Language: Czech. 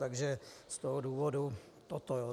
Takže z toho důvodu toto.